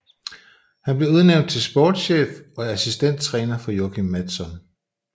Han blev udnævnt til sportschef og assistenttræner for Joakim Mattsson